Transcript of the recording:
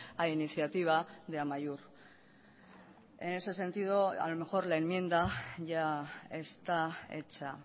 a iniciativa de amaiur en ese sentido a lo mejor la enmienda ya está hecha